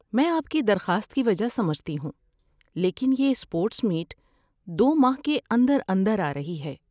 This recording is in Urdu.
میں آپ کی درخواست کی وجہ سمجھتی ہوں لیکن یہ اسپورٹس میٹ دو ماہ کے اندر اندر آرہی ہے۔